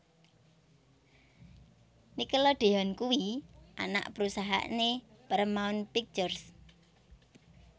Nickelodeon kuwi anak perusahaan e Paramount Pictures